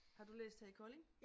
Har du læst her i Kolding?